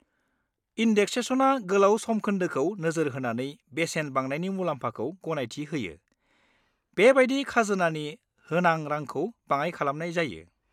इन्देक्सेशना गोलाव समखोन्दोखौ नोजोर होनानै बेसेन बांनायनि मुलाम्फाखौ गनायथि होयो, बेबादिनो खाजोनानि होनां रांखौ बाङाइ खालामनाय जायो।